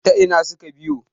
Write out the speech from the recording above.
ta Ina suka biyo!